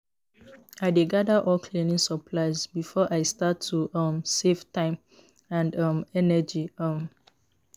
I dey gather all cleaning supplies before I start to um save time and um energy. um